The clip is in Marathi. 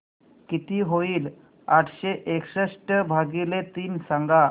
किती होईल आठशे एकसष्ट भागीले तीन सांगा